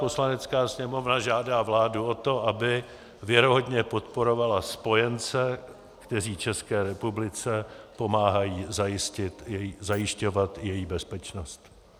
Poslanecká sněmovna žádá vládu o to, aby věrohodně podporovala spojence, kteří České republice pomáhají zajišťovat její bezpečnost.